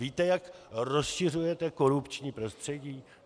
Víte, jak rozšiřujete korupční prostředí?